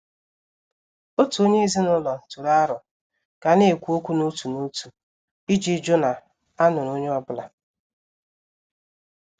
Òtù onye ezinụlọ tụrụ aro ka a na-ekwu okwu n' òtù n'òtu iji jụ na a nụrụ onye ọ́bụ̀la.